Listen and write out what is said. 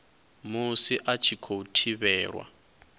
musi a tshi khou thivhelwa